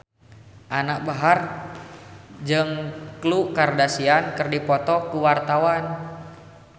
Anisa Bahar jeung Khloe Kardashian keur dipoto ku wartawan